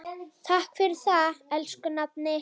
Takk fyrir það, elsku nafni.